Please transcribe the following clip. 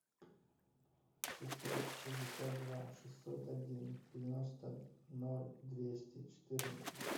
шестьсот шестьдесят два шестьсот один девяносто ноль двести четырнадцать